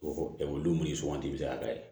olu min sugandi bɛ se k'a dayɛlɛn